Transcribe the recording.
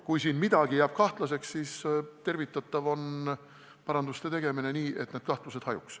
Kui siin midagi jääb kahtlaseks, siis on tervitatav paranduste tegemine, mis need kahtlused hajutaks.